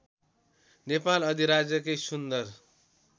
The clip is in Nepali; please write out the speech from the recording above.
नेपाल अधिराज्यकै सुन्दर